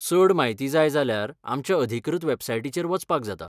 चड म्हायती जाय जाल्यार आमच्या अधिकृत वॅबसायटीचेर वचपाक जाता.